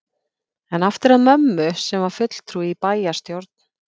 En aftur að mömmu, sem var fulltrúi í bæjarstjórn